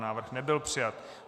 Návrh nebyl přijat.